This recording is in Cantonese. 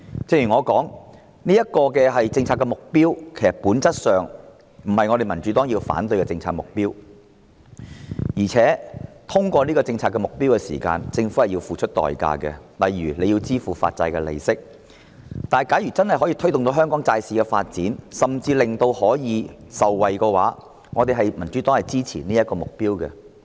正如我所說，這是政策上的目標，其實在本質上，這並不是民主黨反對的政策目標，而在達致這項政策目標的過程中，政府也須付出代價，例如支付發債利息，但如果真的可以推動香港債市發展，甚至令市民受惠，民主黨是支持這個目標的。